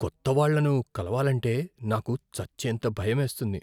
కొత్త వాళ్ళను కలవాలంటే నాకు చచ్చేంత భయమేస్తుంది!